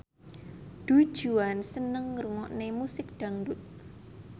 Du Juan seneng ngrungokne musik dangdut